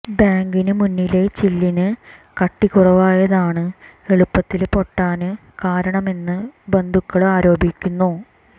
ബാങ്കിന് മുന്നിലെ ചില്ലിന് കട്ടി കുറവായയതാണ് എളുപ്പത്തില് പൊട്ടാന് കാരണമെന്ന് ബന്ധുക്കള് ആരോപിക്കുന്നു